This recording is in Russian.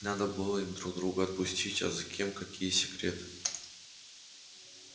надо было им друг друга отпустить а за кем какие секреты